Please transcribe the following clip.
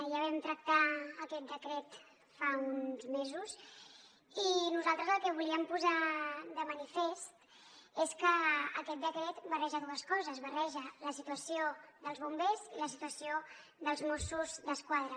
ja vam tractar aquest decret fa uns mesos i nosaltres el que volíem posar de manifest és que aquest decret barreja dues coses barreja la situació dels bombers i la situació dels mossos d’esquadra